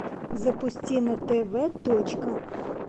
запусти на тв точка